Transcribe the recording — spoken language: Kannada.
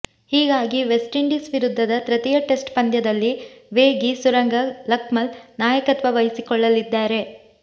ಹೀಗಾಗಿ ವೆಸ್ಟ್ಇಂಡೀಸ್ ವಿರುದ್ಧದ ತೃತೀಯ ಟೆಸ್ಟ್ ಪಂದ್ಯದಲ್ಲಿ ವೇಗಿ ಸುರಂಗ ಲಕ್ಮಲ್ ನಾಯಕತ್ವ ವಹಿಸಿಕೊಳ್ಳಲಿದ್ದಾರೆ